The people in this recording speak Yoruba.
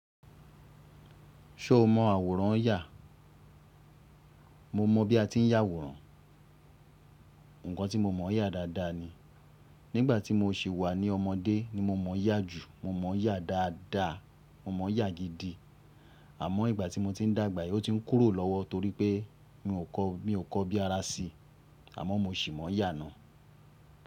Ṣo mọ àwòrán n yà? Mo mọ bí a ti ń yà àwòrán. Ǹkan tí mo mọ̀ yà dáadáa ni. Nígbà tí mo sì wà ní ọmọdé ni mo mọ̀ yà jù. Mo mọ̀ yá dáadáa, mo mọ̀ yá gidi. Àmọ́ ìgbà tí mo ti ń dàgbà, ó ti ń kúrò lọ́wọ́ torí pé mi ò kọ́, mi ò kọ́ bí ara sí, àmọ́ mo ṣì mọ̀ yá naá.